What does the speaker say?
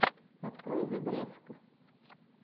открой зе грефг